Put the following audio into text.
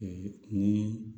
Ee ni